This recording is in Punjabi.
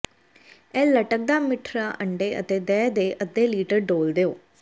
ਇਹ ਲਟਕਦਾ ਮਿੱਠੜਾ ਅੰਡੇ ਅਤੇ ਦਹ ਦੇ ਅੱਧੇ ਲੀਟਰ ਡੋਲ੍ਹ ਦਿਓ